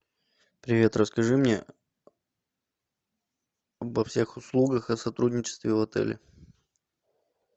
привет расскажи мне обо всех услугах о сотрудничестве в отеле